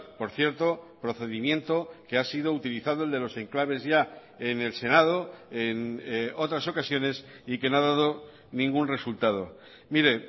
por cierto procedimiento que ha sido utilizado el de los enclaves ya en el senado en otras ocasiones y que no ha dado ningún resultado mire